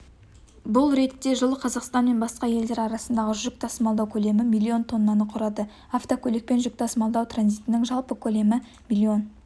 бұл ретте жылы қазақстан мен басқа елдер арасындағы жүк тасымалдау көлемі миллион тоннаны құрады автокөлікпен жүк тасымалдау транзитінің жалпы көлемі миллион